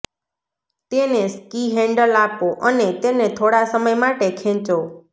તેને ski handle આપો અને તેને થોડા સમય માટે ખેંચો